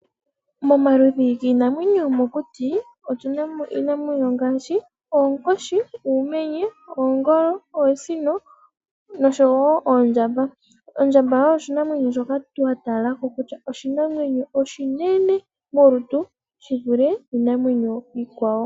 Momaludhi giinamwenyo yomokuti otuna mo iinamwenyo ngaashi oonkoshi, uumenye, oongolo, oosino oshowo oondjamba. Ondjamba oshinanwenyo shoka oshinwne shi vule iinamwenyo iikwawo.